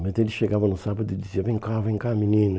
Mas ele chegava no sábado e dizia, vem cá, vem cá, menino.